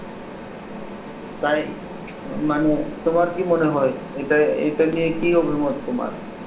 তাই মানে তোমার কি মনে হয় এটা এটা নিয়ে কি অভিমত তোমার?